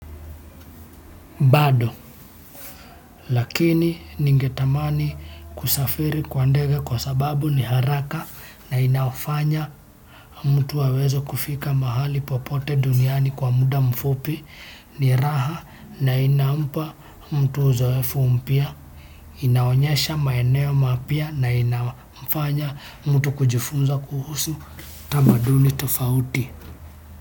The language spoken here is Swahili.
Bado, lakini ningetamani kusafiri kwa ndege kwa sababu ni haraka na inafanya mtu aweze kufika mahali popote duniani kwa muda mfupi ni raha na inampa mtu uzoefu mpya, inaonyesha maeneo mapya na inafanya mtu kujifunza kuhusu tamaduni tofauti.